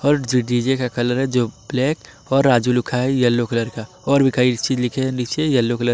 और जो डी_जे का कलर है जो ब्लैक और राजु लिखा है येलो कलर का और भी कई चीज लिखे नीचे येलो कलर --